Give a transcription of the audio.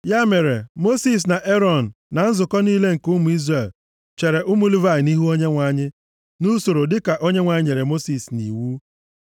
Ya mere, Mosis na Erọn na nzukọ niile nke ụmụ Izrel chere ụmụ Livayị nʼihu Onyenwe anyị, nʼusoro dịka Onyenwe anyị nyere Mosis nʼiwu.